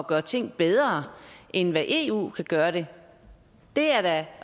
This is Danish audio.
gøre ting bedre end hvad eu kan gøre det det er da